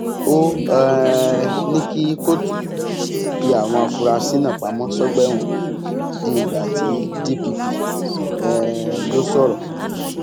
ó um ní kí kóòtù fi àwọn afurasí náà pamọ sọgbà ẹwọn di ìgbà tí dpp um yóò sọrọ